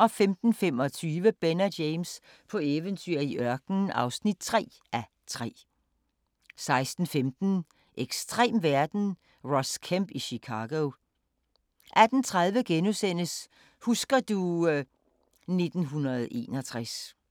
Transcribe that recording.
15:25: Ben og James på eventyr i ørkenen (3:3) 16:15: Ekstrem verden – Ross Kemp i Chicago 18:30: Husker du ... 1961 *